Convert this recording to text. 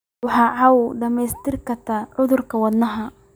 Waxay kaa caawiyaan dhimista khatarta cudurrada wadnaha.